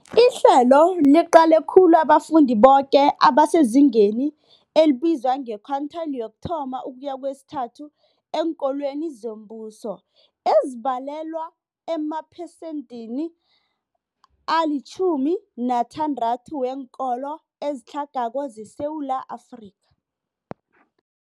Ihlelo liqale khulu abafundi boke abasezingeni elibizwa nge-quintile 1-3 eenkolweni zombuso, ezibalelwa emaphesenthini ali-60 weenkolo ezitlhagako zeSewula Afrika.